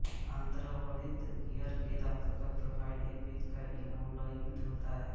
अन्तर्वलित gear के दाँतों की प्रोफाइल एक वृत्त का इन्वोल्यूट होता है